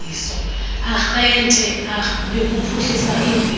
arhente yokuphuhlisa imveliso